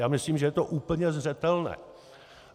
Já myslím, že je to úplně zřetelné.